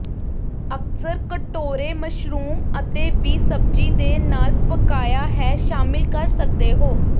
ਅਕਸਰ ਕਟੋਰੇ ਮਸ਼ਰੂਮ ਅਤੇ ਵੀ ਸਬਜ਼ੀ ਦੇ ਨਾਲ ਪਕਾਇਆ ਹੈ ਸ਼ਾਮਿਲ ਕਰ ਸਕਦੇ ਹੋ